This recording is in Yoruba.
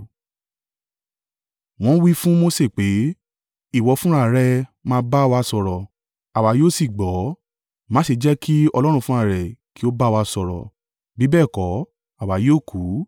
Wọ́n wí fún Mose pé, “Ìwọ fúnra rẹ̀ máa bá wa sọ̀rọ̀, àwa yóò sì gbọ́. Má ṣe jẹ́ kí Ọlọ́run fúnra rẹ̀ kí ó bá wa sọ̀rọ̀, bí bẹ́ẹ̀ kọ́, àwa yóò kú.”